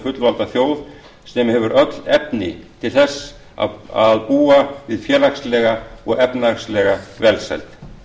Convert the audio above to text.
fullvalda þjóð sem hefur öll efni til þess að búa við félagslega og efnahagslega velsæld